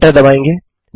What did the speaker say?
enter दबायेंगे